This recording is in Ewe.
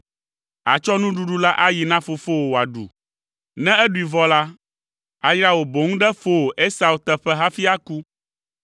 Àtsɔ nuɖuɖu la ayi na fofowò wòaɖu. Ne eɖui vɔ la, ayra wò boŋ ɖe fowò Esau teƒe hafi aku.”